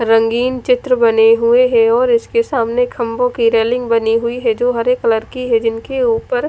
रंगीन चित्र बने हुए है और इसके सामने खम्बो की रेलिंग बनी हुई है जो हरे कलर की है जिनके उपर--